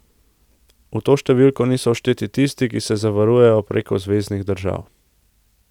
V to številko niso všteti tisti, ki se zavarujejo preko zveznih držav.